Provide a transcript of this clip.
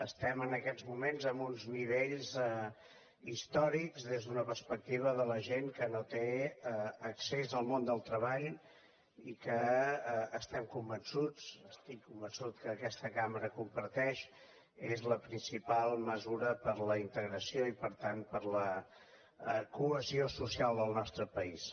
estem en aquests moments en uns nivells històrics des d’una perspectiva de la gent que no té accés al món del treball i que estem convençuts estic convençut que aquesta cambra comparteix és la principal mesura per a la integració i per tant per a la cohesió social del nostre país